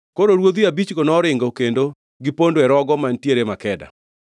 Koro ruodhi abichgo noringo kendo gipondo e rogo mantiere Makeda.